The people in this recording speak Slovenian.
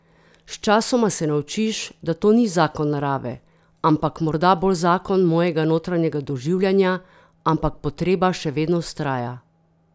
Sčasoma se naučiš, da to ni zakon narave, ampak morda bolj zakon mojega notranjega doživljanja, ampak potreba še vedno vztraja.